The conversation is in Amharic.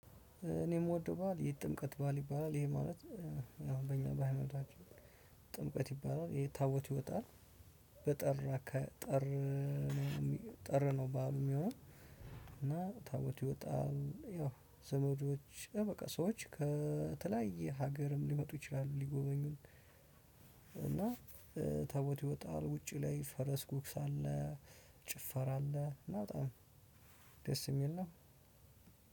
እኔ የምወደው በዓል የጥምቀት በዓል ይባላል ይሄ ማለት አሁን በእኛ በሃይማኖታችን ጥምቀት ይባላል የታቦት ይወጣል በጠራ ከጥር ጥር ነው በዓሉ የሚሆነው። እና ታቦት ይወጣል ያው ዘመዶች በቃ ሰዎች ከተለያየ ሀገርም ሊመጡ ይችላሉ ሊጎበኙን። እና ታቦት ይወጣል ውጪ ላይ ፈረስ ጉግስ አለ ጭፈራ አለ። እና በጣም ደስ ሚል ነው።